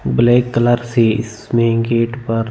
black colour से इसमें gate पर--